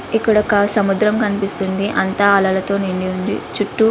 ఇక్కడ ఒక సముద్రం కనిపిస్తోంది అంతా అలలతో నిండి ఉంది చుట్టూ --